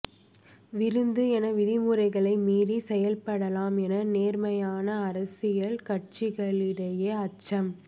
விருந்து என விதிமுறைகளை மீறி செயல்படலாம் என நேர்மையான அரசியல் கட்சிகளிடையே அச்சம்